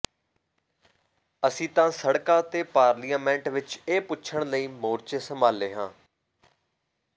ਅਸੀਂ ਤਾਂ ਸੜਕਾਂ ਅਤੇ ਪਾਰਲਿਆਮੇਂਟ ਵਿੱਚ ਇਹ ਪੁੱਛਣ ਲਈ ਮੋਰਚੇ ਸੰਭਾਲੇ ਹਾਂ